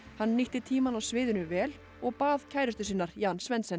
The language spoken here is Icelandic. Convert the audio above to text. hann nýtti tímann á sviðinu vel og bað kærustu sinnar Jan Svendsen